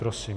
Prosím.